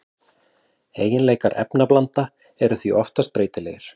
Eiginleikar efnablanda eru því oftast breytilegir.